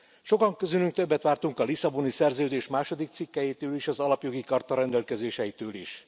Sokan közülük többet vártunk a Lisszaboni Szerződés második cikkelyétől és az Alapjogi Charta rendelkezéseitől is.